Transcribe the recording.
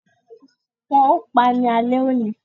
Wọn ò pa ní ale òní